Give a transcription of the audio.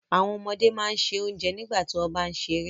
Àwọn ọmọdé máà n ṣẹ ọ̀njẹ nígbàtí wọn bá n sẹ̀rẹ̀.